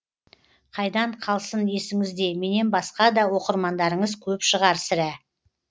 қайдан қалсын есіңізде менен басқа да оқырмандарыңыз көп шығар сірә